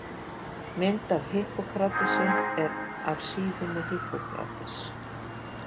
Mynd af Hippókratesi er af síðunni Hippocrates.